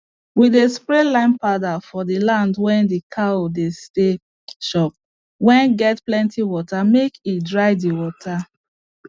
we dey spray lime powder for land wey d cow dey stay chop wey get plenty water make e dry d water